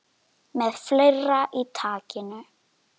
Með fleira í takinu